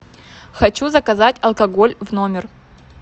хочу заказать алкоголь в номер